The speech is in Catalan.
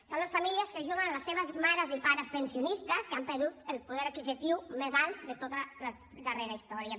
són les famílies que ajuden les seves mares i pares pensionistes que han perdut el poder adquisitiu més alt de tota la darrera història